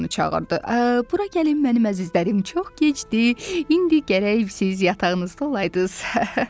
Aha, bura gəlin mənim əzizlərim, çox gecdir, indi gərək siz yatağınızda olaydız.